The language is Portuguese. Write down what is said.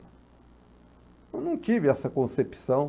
Eu não tive essa concepção.